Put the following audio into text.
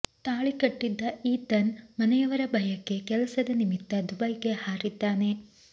ತಾಳಿ ಕಟ್ಟಿದ್ದ ಈತನ್ ಮನೆಯವರ ಭಯಕ್ಕೆ ಕೆಲಸದ ನಿಮಿತ್ತ ದುಬೈಗೆ ಹಾರಿದ್ದಾನೆ